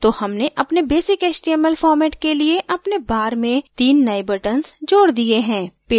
तो हमने अपने basic html format के लिए अपने bar में तीन नयें buttons जोड दिये हैं